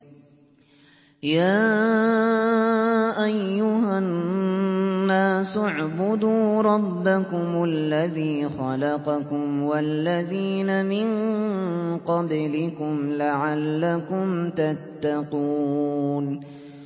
يَا أَيُّهَا النَّاسُ اعْبُدُوا رَبَّكُمُ الَّذِي خَلَقَكُمْ وَالَّذِينَ مِن قَبْلِكُمْ لَعَلَّكُمْ تَتَّقُونَ